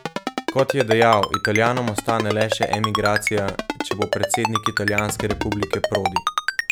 Kot je dejal, Italijanom ostane le še emigracija, če bo predsednik italijanske republike Prodi.